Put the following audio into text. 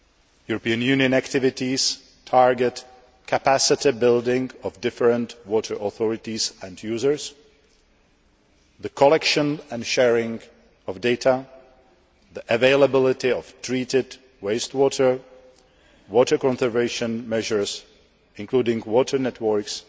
European Union activities target capacity building of different water authorities and users, the collection and sharing of data, the availability of treated waste water, water conservation measures, including water networks,